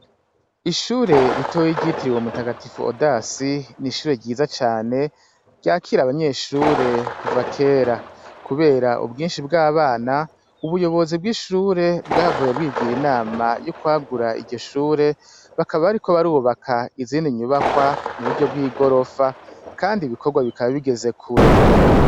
Ishure ritoyi ryitiriwe mutagatifu Odasi ni ishure ryiza cane ryakira abanyeshure kuva kera. Kubera ubwinshi bw'abana, ubuyobozi bw'ishure bwahavuye bwigira inama y'ukwagura iryo shure, bakaba bariko barubaka izindi nyubakwa mu buryo bw'igorofa kandi ibikogwa bikaba bigeze kure.